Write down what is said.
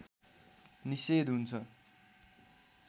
निषेध हुन्छ